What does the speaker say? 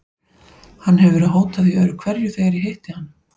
Hann hefur verið að hóta því öðru hverju þegar ég hitti hann.